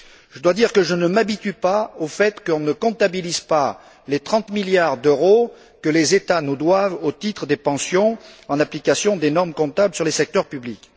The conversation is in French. Je dois dire que je ne m'habitue pas au fait que l'on ne comptabilise pas les 30 milliards d'euros que les États nous doivent au titre des pensions en application des normes comptables sur les secteurs publics.